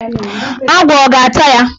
Agwọ ọ ga-ata ya?